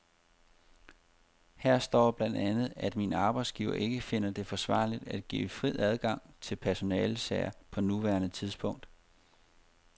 Her står blandt andet, at min arbejdsgiver ikke finder det forsvarligt at give fri adgang til personalesager på nuværende tidspunkt.